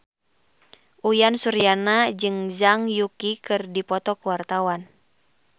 Uyan Suryana jeung Zhang Yuqi keur dipoto ku wartawan